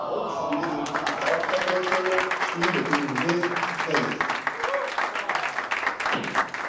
Hann ók þá niður í Dráttarbrautina, sneri bílnum við og beið.